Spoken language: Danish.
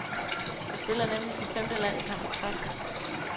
Han spiller nemlig sin femte landskamp i træk.